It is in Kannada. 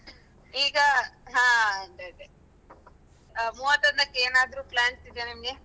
ಈಗ ಹ ಅದೇ ಅದೇ ಮೂವತ್ತೊಂದಕ್ಕೆ ಏನಾದ್ರು plans ಇದ್ಯಾ ನಿಮ್ಗೆ?